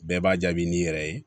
Bɛɛ b'a jaabi n'i yɛrɛ ye